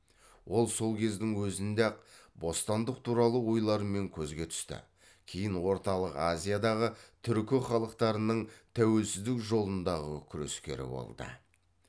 ол сол кездің өзінде ақ бостандық туралы ойларымен көзге түсті кейін орталық азиядағы түркі халықтарының тәуелсіздік жолындағы күрескері болды